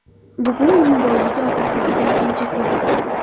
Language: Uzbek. Bugun uning boyligi otasinikidan ancha ko‘p.